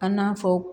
An n'a fɔ